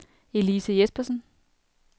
Elise Jespersen